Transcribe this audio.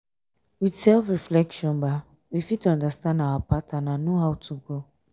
with self reflection we fit understand our pattern and know how to grow